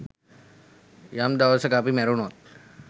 යම් දවසක අපි මැරුනොත්